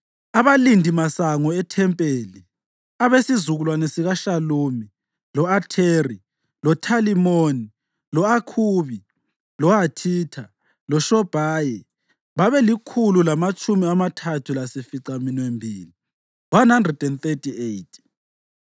Abalindimasango ethempeli: abesizukulwane sikaShalumi, lo-Atheri, loThalimoni, lo-Akhubi, loHathitha loShobhayi babelikhulu lamatshumi amathathu lasificaminwembili (138).